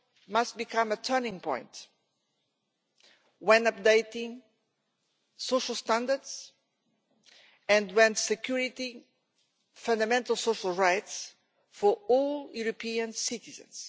must become a turning point when updating social standards and security and fundamental social rights for all European citizens.